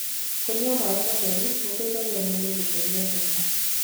kũnyua maĩ matheru gũteithagia mwĩrĩ gutherĩa thumu